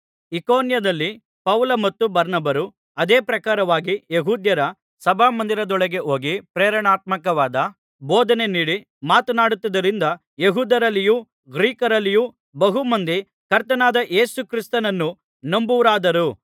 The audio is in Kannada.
ಇಕೋನ್ಯದಲ್ಲಿ ಪೌಲ ಮತ್ತು ಬಾರ್ನಬರು ಅದೇ ಪ್ರಕಾರವಾಗಿ ಯೆಹೂದ್ಯರ ಸಭಾಮಂದಿರದೊಳಗೆ ಹೋಗಿ ಪ್ರೇರಣಾತ್ಮಕವಾದ ಬೋಧನೆ ನೀಡಿ ಮಾತನಾಡಿದ್ದರಿಂದ ಯೆಹೂದ್ಯರಲ್ಲಿಯೂ ಗ್ರೀಕರಲ್ಲಿಯೂ ಬಹುಮಂದಿ ಕರ್ತನಾದ ಯೇಸುಕ್ರಿಸ್ತನನ್ನು ನಂಬುವವರಾದರು